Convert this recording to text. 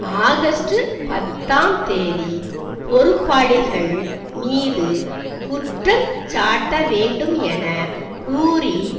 August பத்தாம் தேதி பொறுப்பாளிகள் மீது குற்றஞ்சாட்ட வேண்டும் என கூறி